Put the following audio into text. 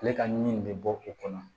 Ale ka ɲi nin bɛ bɔ o kɔnɔ